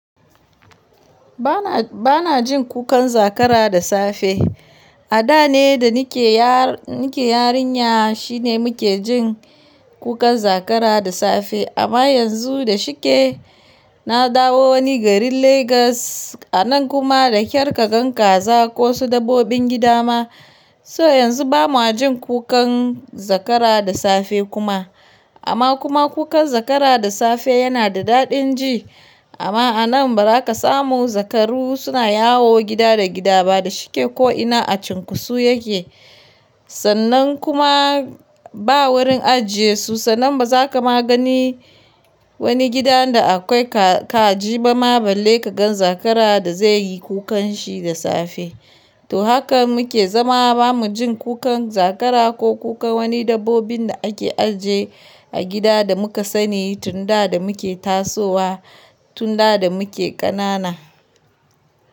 Ba na, ba na jin kukan zakara da safe. A da ne da nike yarinya shine muke jin kukan zakara da safe. Amma yanzu da shike, na dawo wani garin Legas, a nan kuma da kyar ka gan kaza ko su dabbobin gida ma. So yanzu ba mu jin kukan zakara da safe kuma. Amma kuma kukan zakara da safe yana da daɗin ji. Amma a nan ba za ka samu zakaru suna yawo gida da gida ba da shike ko ina a cunkosu yake. Sannan kuma ba wurin ajiye su, sannan ba za ka ma gani wani gidan da akwai ka, kaji ba ma balle ka gan zakara da zai yi kukan shi da safe. To haka muke zama ba mu jin kukan zakara ko kukan wani dabbobin da ake ajiye a gida da muka sani tun da da muke tasowa, tun da da muke ƙanana.